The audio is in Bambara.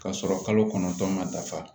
K'a sɔrɔ kalo kɔnɔntɔn ma dafa